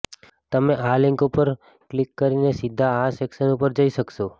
તમે આ લિંક ઉપર ક્લિક કરીને સીધા આ સેક્શન ઉપર જઈ શકશો